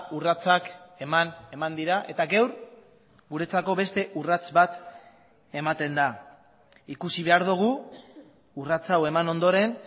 urratsak eman eman dira eta gaur guretzako beste urrats bat ematen da ikusi behar dugu urratsa hau eman ondoren